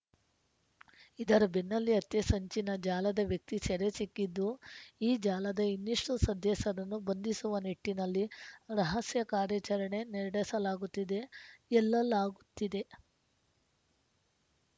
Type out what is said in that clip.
ಇದರ ಬೆನ್ನಲ್ಲೇ ಹತ್ಯೆ ಸಂಚಿನ ಜಾಲದ ವ್ಯಕ್ತಿ ಸೆರೆ ಸಿಕ್ಕಿದ್ದು ಈ ಜಾಲದ ಇನ್ನಷ್ಟುಸದಸ್ಯರನ್ನು ಬಂಧಿಸುವ ನಿಟ್ಟಿನಲ್ಲಿ ರಹಸ್ಯ ಕಾರ್ಯಾಚರಣೆ ನಡೆಸಲಾಗುತ್ತಿದೆ ಎಲ್ಲಲಾಗುತ್ತಿದೆ